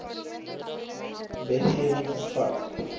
wetge wing vervat